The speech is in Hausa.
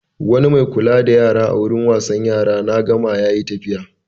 Wani mai kula da yara a wurin wasan yara na Gama ya yi tafiya.